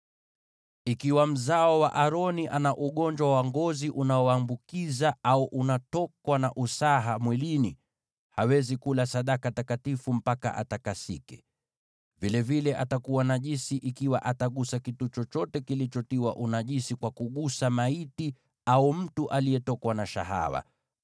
“ ‘Ikiwa mzao wa Aroni ana ugonjwa wa ngozi unaoambukiza au anatokwa na usaha mwilini, hawezi kula sadaka takatifu mpaka atakasike. Pia atakuwa najisi ikiwa atagusa kitu chochote kilicho najisi kwa kugusa maiti au mtu aliyetokwa na shahawa,